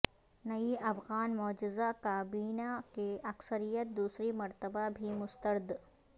نئی افغان مجوزہ کابینہ کی اکثریت دوسری مرتبہ بھی مسترد